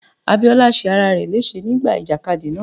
Abíọ́lá ṣe ara rẹ léṣe nígbà ìjàkadì náà.